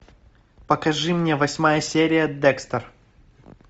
покажи мне восьмая серия декстер